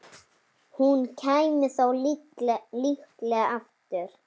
Hún kæmi þá líklega aftur.